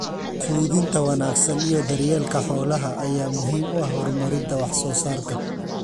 quudinta wanaagsan iyo daryeelka xoolaha ayaa muhiim u ah horumarinta wax soo saarka.